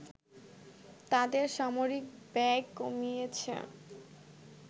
তাদের সামরিক ব্যয় কমিয়েছে